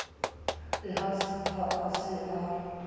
le ha e se a